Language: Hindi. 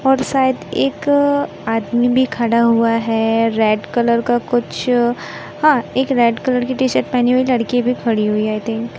और शायद एक आदमी भी खड़ा हुआ हैं रेड कलर का कुछ हां एक रेड कलर की टी शर्ट लेहनी हुई लड़की भी खड़ी हुईं है आई थिंक --